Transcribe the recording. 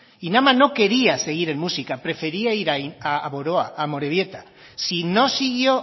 inama no quería seguir en muxica prefería ir a boroa a amorebieta si no siguió